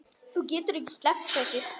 Þú getur ekki sleppt þessu.